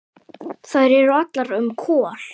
Þær eru allar um Kol.